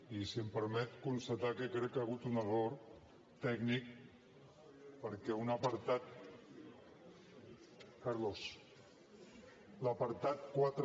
i si m’ho permet constatar que crec que hi ha hagut un error tècnic perquè un apartat carlos l’apartat quatre